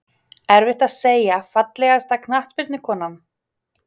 Erfitt að segja Fallegasta knattspyrnukonan?